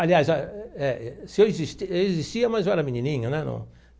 Aliás, é, se eu existia, eu existia mas eu era menininho, né no?